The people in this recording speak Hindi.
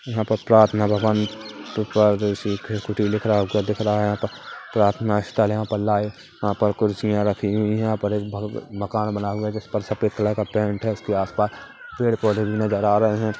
यहाँ पर प्रार्थना भवन लिखा दिख हुवा दीख रहा है यहाँ पर प्रार्थना स्थल यहाँ पर लाइव वहाँ पर खुर्शियां रखी हुई यहाँ पर एक भ मकान बना हुआ है जिसपर सफेद कलर का पेंट है उसके आसपास पेड़ पौधे भी नजर आ रहे है।